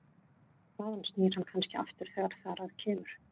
Þaðan snýr hann kannski aftur þegar þar að kemur.